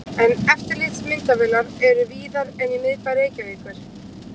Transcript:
En eftirlitsmyndavélar eru víðar en í miðbæ Reykjavíkur.